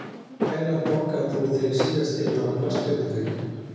Nei Hvenær borgaðir þú þig síðast inn á knattspyrnuleik?